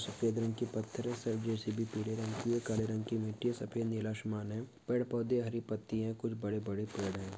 सफ़ेद रंग की पत्थरे सब जैसी पीले रंग की है काले रंग की मिट्टी सफ़ेद नीला आसमान है पेड़ पौधे हरी पत्ती है कुछ बड़े-बड़े पेड़ है।